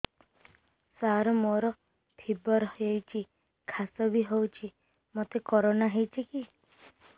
ସାର ମୋର ଫିବର ହଉଚି ଖାସ ବି ହଉଚି ମୋତେ କରୋନା ହେଇଚି କି